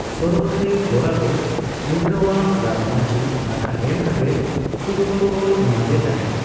ᱥᱚᱨᱚᱜ ᱨᱮ, ᱜᱳᱨᱟ ᱫᱚ ᱤᱱᱫᱨᱚᱣᱟᱜ ᱨᱟᱡᱽᱢᱟᱹᱪᱤ ᱟᱫᱷᱟ ᱮᱢ ᱠᱟᱛᱮᱫ ᱥᱤᱨᱯᱟᱹ ᱠᱚ ᱮᱢᱟᱫᱮ ᱛᱟᱸᱦᱮᱫ ᱾